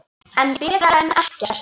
En betra en ekkert.